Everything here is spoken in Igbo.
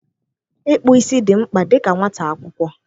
Ịkpụ isi dị mkpa dịka nwata akwụkwọ.